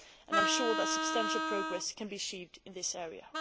I am sure that substantial progress can be achieved in this area.